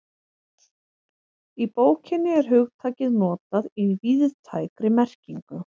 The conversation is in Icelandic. Í bókinni er hugtakið notað í víðtækri merkingu.